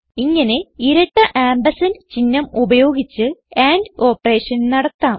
ഇങ്ങനെ ഇരട്ട ആംപർസാൻഡ് ചിഹ്നം ഉപയോഗിച്ച് ആൻഡ് ഓപ്പറേഷൻ നടത്താം